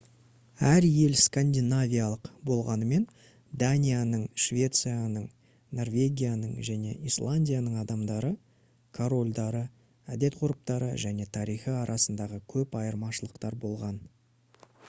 әр ел «скандинавиялық» болғанымен данияның швецияның норвегияның және исландияның адамдары корольдары әдет-ғұрыптары және тарихы арасында көп айырмашылықтар болған